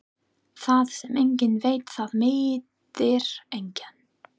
Það sem enginn veit það meiðir engan.